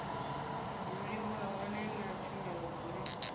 dzuliwa hone na tshumelo dzine